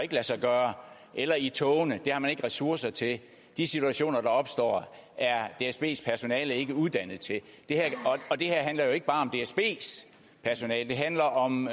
lade sig gøre eller i togene det har man ikke ressourcer til de situationer der opstår er dsbs personale ikke uddannet til og det her handler jo ikke bare om dsbs personale det handler om